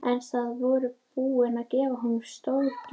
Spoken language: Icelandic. En þið voruð búin að gefa honum stórgjöf.